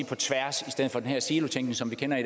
på tværs i stedet for den her silotænkning som vi kender i